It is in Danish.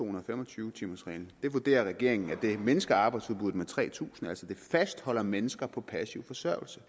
og fem og tyve timers reglen det vurderer regeringen mindsker arbejdsudbuddet med tre tusind det fastholder altså mennesker på passiv forsørgelse